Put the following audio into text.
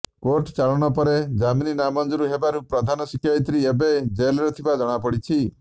କୋର୍ଟଚାଲାଣ ପରେ ଜାମିନ୍ ନାମଞ୍ଜୁର ହେବାରୁ ପ୍ରଧାନ ଶିକ୍ଷୟିତ୍ରୀ ଏବେ ଜେଲ୍ରେ ଥିବା ଜଣାପଡ଼ିଛି